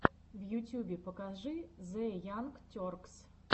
в ютьюбе покажи зе янг теркс